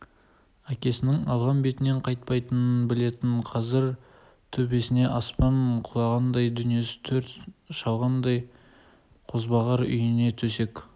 әкесінің алған бетінен қайтпайтынын білетін қазір төбесіне аспан құлағандай дүниесін өрт шалғандай қозбағар үйінде төсек